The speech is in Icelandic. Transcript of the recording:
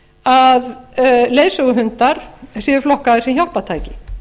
að leiðsöguhundar séu flokkaðir sem hjálpartæki